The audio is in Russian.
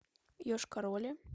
йошкар оле